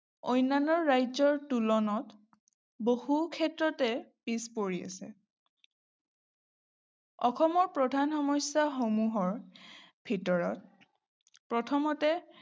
অন্যান্য ৰাজ্যৰ তুলনাত বহুক্ষেত্ৰতে পিছ পৰি আছে। অসমৰ প্ৰধান সমস্যাসমূহৰ ভিতৰত প্ৰথমতে